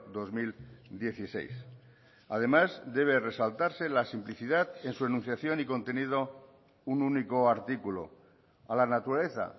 dos mil dieciséis además debe resaltarse la simplicidad en su enunciación y contenido un único artículo a la naturaleza